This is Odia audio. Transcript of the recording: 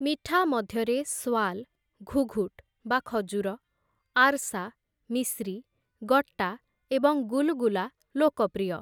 ମିଠା ମଧ୍ୟରେ ସ୍ୱାଲ, ଘୁଘୁଟ୍ ବା ଖଜୁର, ଆର୍‌ସା, ମିଶ୍ରି, ଗଟ୍ଟା ଏବଂ ଗୁଲଗୁଲା ଲୋକପ୍ରିୟ ।